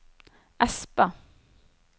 Espa